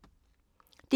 DR P2